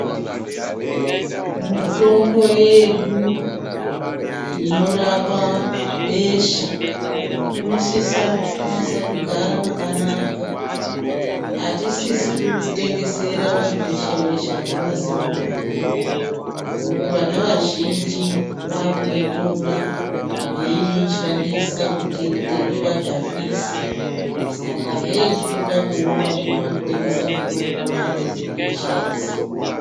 Mutombo yedu inorapa besha inosisakunasa kugara mwakanaka, atisisi kutengesera vantu veshe veshe vakaita sevana vadoko ngokuti vana vazhinji vakuitora veishandisa kuti ivadhakwise saka heyi zvinoda kuona kune vanotengesa mitombo vari vedzemutombo dzebesha idzi.